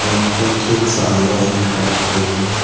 Gate के ठीक सामने एक गाड़ी खड़ी हुई है।